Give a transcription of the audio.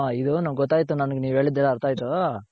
ಹ ಇದು ನನಗ್ ಗೊತ್ತಾಯ್ತು ನನಗ್ ನೀವ್ ಹೇಳಿದ್ದ್ ಏನು ಅರ್ಥ ಆಯ್ತು